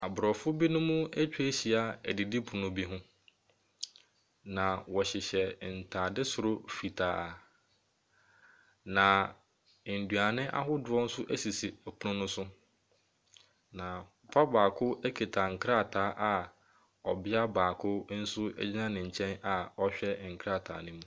Aborɔfo bi nso atwa ahyia adidipono bi ho. Na wɔhyehyɛ ntaade soro fitaa. Na nnuane ahorow nso sisi pono no so. Papa baako kita nkrataa a ɔbea baako gyina ne nkyɛ na ɔrehwɛ nkrataa no mu.